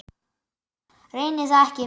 Reyni það ekki.